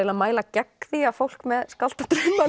að mæla gegn því að fólk með skáldadrauma